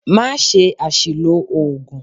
Má ṣe àsìlò oògùn!